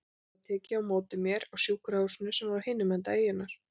Það var tekið á móti mér á sjúkrahúsinu sem var á hinum enda eyjunnar.